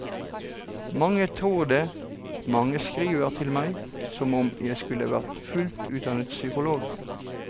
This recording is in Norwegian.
Mange tror det, mange skriver til meg som om jeg skulle vært fullt utdannet psykolog.